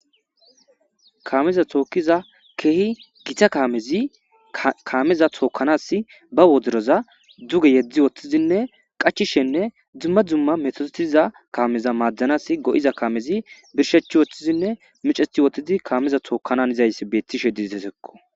Kaameza tookkiza keehi gita kaamezi kaameza tookkanas ba wodroza duge yedzdzi wothtizinne qachishenne dzumma dzumma metootiza kaameza maaddanas go'iza kaamezi birshechi woththizinne miceti wotidi kaameza tookkanan izayss beettishe diditesekko.